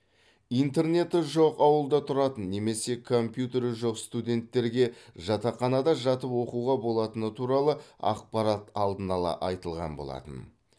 интернеті жоқ ауылда тұратын немесе компьютері жоқ студенттерге жатақханада жатып оқуға болатыны туралы ақпарат алдын ала айтылған болатын